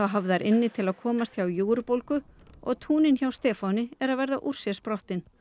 hafðar inni til að komast hjá og túnin hjá Stefáni eru að verða úr sér sprottin